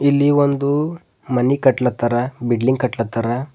ಇಲ್ಲಿ ಒಂದು ಮನಿ ಕಟ್ಲತ್ತಾರ ಬಿಡ್ಲಿಂಗ್ ಕಟ್ಲತ್ತಾರ.